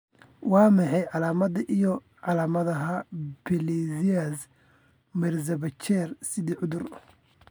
Waa maxay calaamadaha iyo calaamadaha Pelizaeus Merzbacher sida cudur?